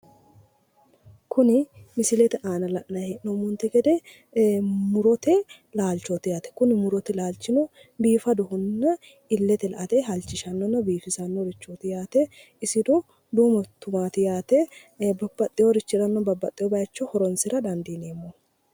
Kuni misilete aana la'nayi hee'noommonte gede murote laalchooti yaate kuni murote laalchino biifadohonna illete la''ate halchishanno biifisannorichoobootohoi yaate isino duumo tumaati yaate hattono babbaxxeworira babbaxxewo bayicho horonsira dandiineemmo.